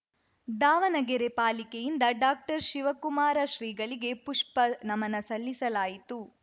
ದಾವಣಗೆರೆ ಪಾಲಿಕೆಯಿಂದ ಡಾಕ್ಟರ್ಶಿವಕುಮಾರ ಶ್ರೀಗಳಿಗೆ ಪುಷ್ಪ ನಮನ ಸಲ್ಲಿಸಲಾಯಿತು